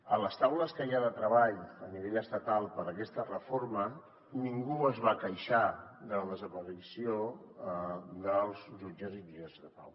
a les taules que hi ha de treball a nivell estatal per a aquesta reforma ningú es va queixar de la desaparició dels jutges i jutgesses de pau